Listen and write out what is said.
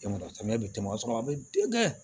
E ma samiya bi tɛmɛ o y'a sɔrɔ a be denkɛ